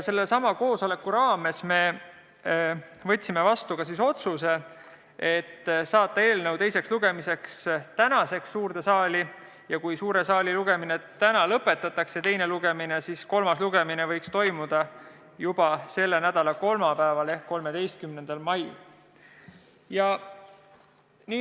Sellelsamal koosolekul võtsime vastu otsuse saata eelnõu tänaseks suurde saali teisele lugemisele ja juhul, kui teine lugemine täna lõpetatakse, siis võiks kolmas lugemine toimuda juba selle nädala kolmapäeval ehk 13. mail.